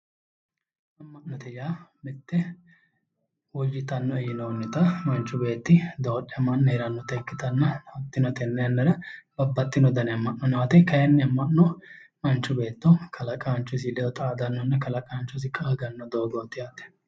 Ama'note yaa mite woyyittanoe yinnonitta manchu beetti dodhamanni heeranotta ikkittanna hatino ,tene yannara babbaxxino ama'no nooti, ama'no manchu beetto kalaqanchosi xaadanonna kalaqanchosi qaagano doogoti yaate.